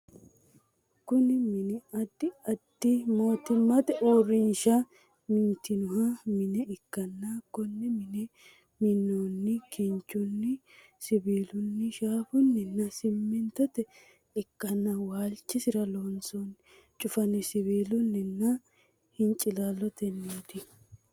Kunni minni addi addi mootimmate uurinsha mintino Mine ikanna Kone mine minoonni kinchunni, siwiilunni, shaafunninna simintote ikanna waalchisira wansoonni cufanni siwiilunninna hincilaaloteeti.